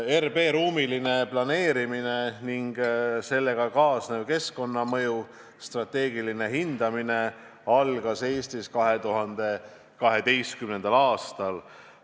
RB ruumiline planeerimine ning sellega kaasneva keskkonnamõju strateegiline hindamine algas Eestis 2012. aastal.